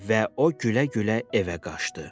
Və o gülə-gülə evə qaçdı.